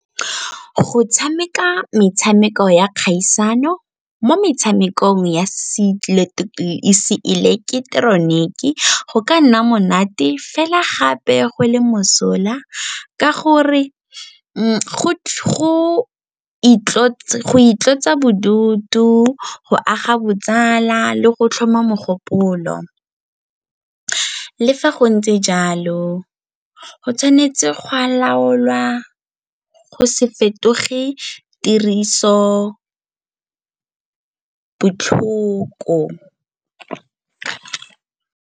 Go tshameka metshameko ya kgaisano mo metshamekong ya seileketeroniki go ka nna monate fela gape go le mosola ka gore go itlosa bodutu, go aga botsala le go tlhoma mogopolo. Le fa go ntse jalo, go tshwanetse gwa laolwa go se fetoge tiriso botlhoko.